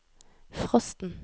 frosten